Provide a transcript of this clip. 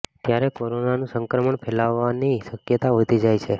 ત્યારે કોરોનાનું સંક્રમણ ફેલાવાની શકયતા વધી જાય છે